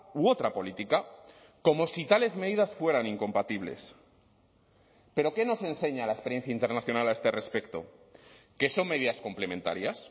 u otra política como si tales medidas fueran incompatibles pero qué nos enseña la experiencia internacional a este respecto que son medidas complementarias